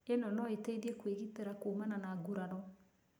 Ĩno no ĩteithie kwĩgitĩra kumana na gurario.